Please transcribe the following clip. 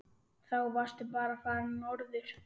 Þá varstu bara farinn norður.